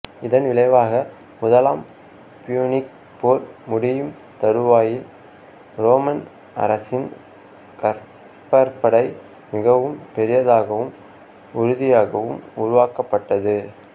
இதன் விளைவாக முதலாம் பியூனிக் போர் முடியும் தருவாயில் ரோமன் அரசின் கப்பற்படை மிகவும் பெரியதாகவும் உறுதியாகவும் உருவாக்கப்பட்டது